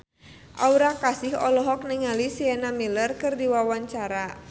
Aura Kasih olohok ningali Sienna Miller keur diwawancara